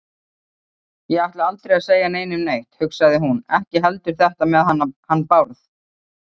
Ég ætla aldrei að segja neinum neitt, hugsaði hún, ekki heldur þetta með hann Bárð.